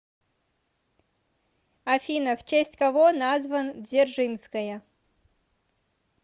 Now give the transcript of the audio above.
афина в честь кого назван дзержинская